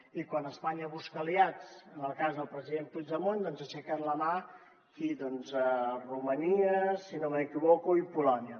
i quan espanya busca aliats en el cas del president puigdemont doncs aixequen la mà qui doncs romania si no m’equivoco i polònia